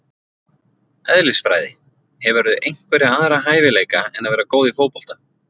Eðlisfræði Hefurðu einhverja aðra hæfileika en að vera góð í fótbolta?